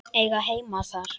Eiga heima þar.